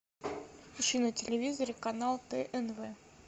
включи на телевизоре канал тнв